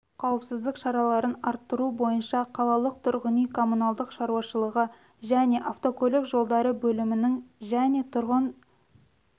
қауіпсіздік шараларын арттыру бойынша қалалық тұрғын үй коммуналдық шаруашылығы және автокөлік жолдары бөлімінің және тұрғын